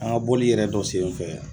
An ka bɔli yɛrɛ dɔ senfɛ